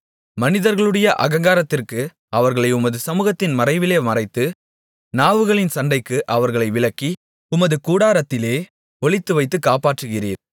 மனிதர்களுடைய அகங்காரத்திற்கு அவர்களை உமது சமுகத்தின் மறைவிலே மறைத்து நாவுகளின் சண்டைக்கு அவர்களை விலக்கி உமது கூடாரத்திலே ஒளித்துவைத்துக் காப்பாற்றுகிறீர்